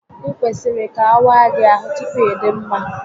Ị kwesịrị ka awaa gị ahụ tupu ịdị mma